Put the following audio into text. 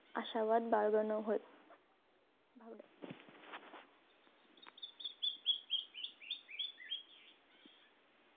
आशावाद बाळगन होय